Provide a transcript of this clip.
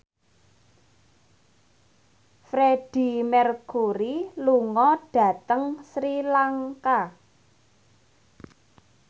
Freedie Mercury lunga dhateng Sri Lanka